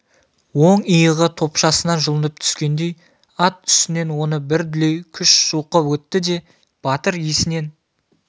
оң иығы топшасынан жұлынып түскендей ат үстінен оны бір дүлей күш жұлқып өтті де батыр есінен